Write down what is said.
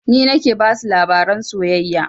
Ni nake basu labaran soyayya